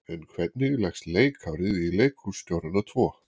En hvernig leggst leikárið í leikhússtjórana tvo?